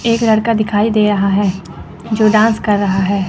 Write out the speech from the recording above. एक लड़का दिखाई दे रहा है जो डांस कर रहा है।